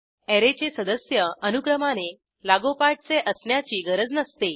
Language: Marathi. अॅरेचे सदस्य अनुक्रमाने लागोपाठचे असण्याची गरज नसते